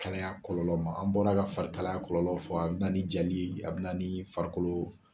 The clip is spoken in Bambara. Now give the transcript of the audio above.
Kalaya kɔlɔlɔ ma. An bɔra ka fari kalaya kɔlɔlɔ fɔ, a be na ni jali ye , a be na ni farikolo